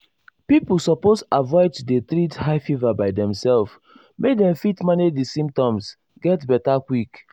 pipo suppose avoid to dey treat high fever by demself make dem fit manage di symptoms get beta quick.